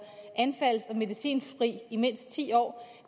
anfalds og medicinfri i mindst ti år